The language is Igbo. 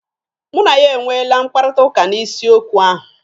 Mụ na ya e nweele mkpakọrịtaụka n'isi okwu ahụ.